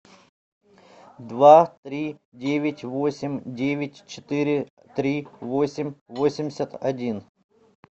два три девять восемь девять четыре три восемь восемьдесят один